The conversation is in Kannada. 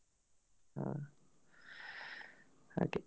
ಹಾ ಹಾಗೆ.